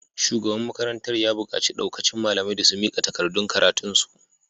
Shugaban makarantar ya bukaci daukacin malamai da su mika takardun karatunsu.